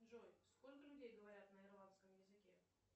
джой сколько людей говорят на ирландском языке